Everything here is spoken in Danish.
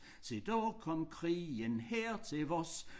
Se da kom krigen her til os